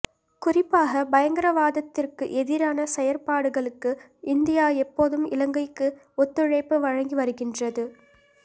குறிப்பாக பயங்கரவாதத்திற்கு எதிரான செயற்பாடுகளுக்கு இந்தியா எப்போதும் இலங்கைக்கு ஒத்துழைப்பு வழங்கி வருகின்றது